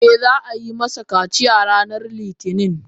Eh, za a yi masa kaciya ranar Litinin.